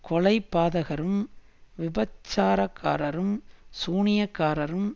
கொலைபாதகரும் விபசாரக்காரரும் சூனியக்காரரும்